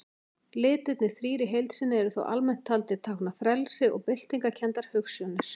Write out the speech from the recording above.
Litirnir þrír í heild sinni eru þó almennt taldir tákna frelsi og byltingarkenndar hugsjónir.